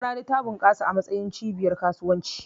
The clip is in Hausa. Maradi ta bunƙasa a matsayin cibiyar kasuwanci.